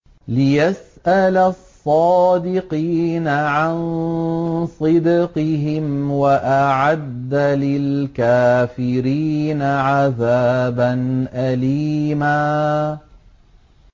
لِّيَسْأَلَ الصَّادِقِينَ عَن صِدْقِهِمْ ۚ وَأَعَدَّ لِلْكَافِرِينَ عَذَابًا أَلِيمًا